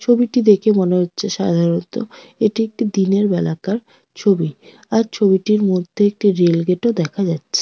ছবিটি দেখে মনে হচ্ছে সাধারণত এটি একটি দিনের বেলাকার ছবি আর ছবিটির মধ্যে একটি রেলগেট -ও দেখা যা--